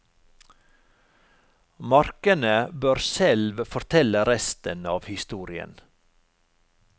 Markene bør selv fortelle resten av historien.